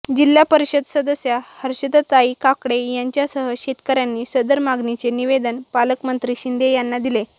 जिल्हा परिषद सदस्या हर्षदाताई काकडे यांच्यासह शेतकर्यांनी सदर मागणीचे निवेदन पालकमंत्री शिंदे यांना दिले